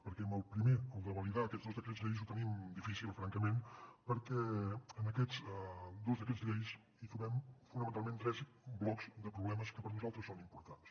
perquè amb el primer el de validar aquests dos decrets llei ho tenim difícil francament perquè en aquests dos decrets llei trobem fonamentalment tres blocs de problemes que per a nosaltres són importants